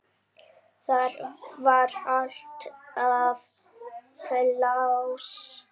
Þar var alltaf pláss.